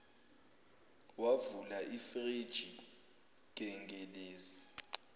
wavula ifriji gengelezi